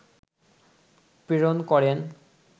প্রেরণ করেন